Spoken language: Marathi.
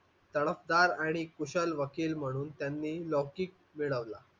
तडफदार आणि कुशल वकील म्हणून त्यांनी लौकिक मिळवला.